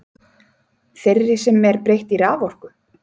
Þeirri sem er breytt í raforku?